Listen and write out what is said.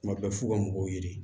Tuma bɛɛ f'u ka mɔgɔw ɲini